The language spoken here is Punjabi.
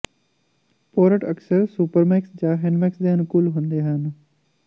ਪੋਰਟ ਅਕਸਰ ਸੁਪਰਮੈਕਸ ਜਾਂ ਹੈਂੈਂਡਮੈਕਸ ਦੇ ਅਨੁਕੂਲ ਹੁੰਦੇ ਹਨ